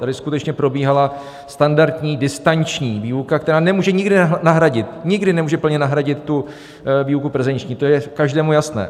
Tady skutečně probíhala standardní distanční výuka, která nemůže nikdy nahradit, nikdy nemůže plně nahradit tu výuku prezenční, to je každému jasné.